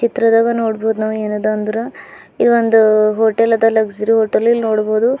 ಇತ್ರದವ ನೋಡಬಹುದು ನಾವು ಏನದ ಅಂದ್ರ ಈ ಒಂದು ಹೋಟೆಲ್ ಅದ ಲಗ್ಜರಿ ಹೋಟೆಲ್ ಇಲ್ಲಿ ನೋಡಬಹುದು--